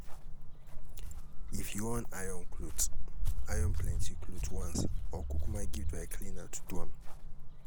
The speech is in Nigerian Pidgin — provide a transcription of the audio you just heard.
if yu wan iron clothes, iron plenty clothes once or kukuma give dry cleaner to do am